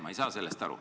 Ma ei saa sellest aru.